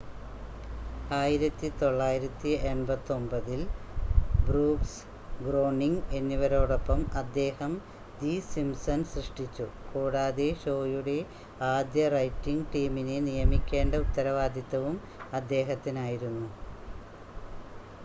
1989-ൽ Brooks Groening എന്നിവരോടൊപ്പം അദ്ദേഹം the Simpsons സൃഷ്ടിച്ചു കൂടാതെ ഷോയുടെ ആദ്യ റൈറ്റിംഗ് ടീമിനെ നിയമിക്കേണ്ട ഉത്തരവാദിത്തവും അദ്ദേഹത്തിനായിരുന്നു